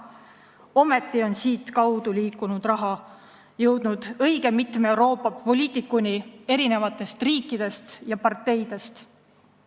Ometi on siitkaudu liikunud raha jõudnud õige mitme Euroopa poliitikuni mitmest riigist ja parteist.